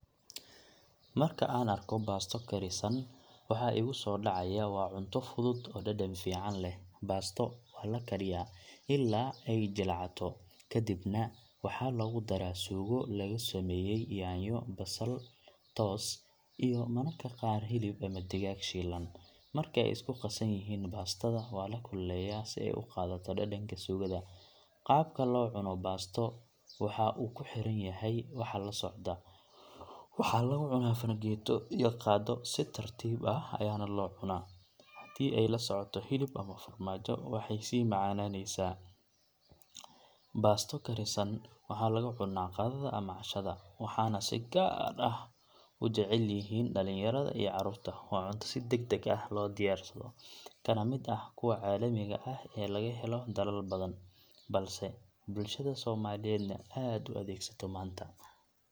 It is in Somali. Marka aan arko baasto karisan, waxa igu soo dhacaya waa cunto fudud oo dhadhan fiican leh. Baasto waa la kariyaa ilaa ay jilcato, ka dibna waxaa lagu daraa suugo lagu sameeyay yaanyo, basal, toos, iyo mararka qaar hilib ama digaag shiilan. Marka ay isku qasan yihiin, baastada waa la kululeeyaa si ay u qaadato dhadhanka suugada. Qaabka loo cuno baasto waxa uu ku xiran yahay waxa la socda. Waxaa lagu cunaa fargeeto iyo qaaddo, si tartiib ah ayaana loo cunaa. Haddii ay la socoto hilib ama farmaajo, waxay sii macaanaysaa. Baasto karisan waxaa lagu cunaa qadada ama cashada, waxaana si gaar ah u jecel yihiin dhalinyarada iyo caruurta. Waa cunto si deg deg ah loo diyaarsado, kana mid ah kuwa caalamiga ah ee laga helo dalal badan, balse bulshada Soomaaliyeedna aad u adeegsato maanta.